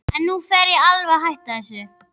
En nú fer ég alveg að hætta þessu.